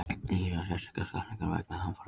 Íhuga sérstaka skattlagningu vegna hamfaranna